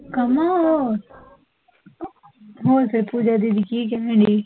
ਕਾਮਾ ਉਹ, ਹੋਰ ਫੇਰ ਪੂਜਾ ਦੀਦੀ ਕਿ ਕਹਿਣ ਡੇਈ?